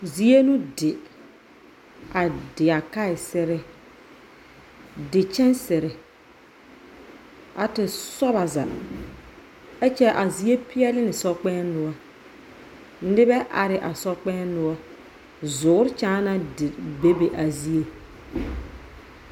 Zie no di a di a kaesere, di kyansere a te sɔbaaza. Ɛkyɛ a zie peɛle ne sokpɛɛŋ noɔr, nebɛ are a sokpɛɛŋ noɔr, zoor kyaana di bebe a zie